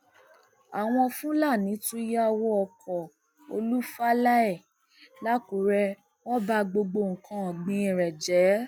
àwọn fúlàní tún yà wọ ọkọ olú falae làkúrè wọn ba gbogbo nǹkan ọgbìn rẹ jẹ